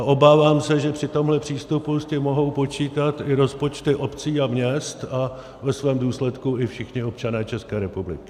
A obávám se, že při tomhle přístupu s tím mohou počítat i rozpočty obcí a měst a ve svém důsledku i všichni občané České republiky.